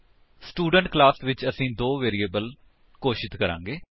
student class ਵਿੱਚ ਅਸੀ ਦੋ ਵੈਰਿਏਬਲਸ ਘੋਸ਼ਿਤ ਕਰਾਂਗੇ